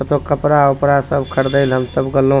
कतो कपड़ा-उपड़ा सब खरीदे ले हम सब गेलों।